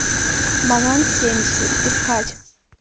манон семьдесят искать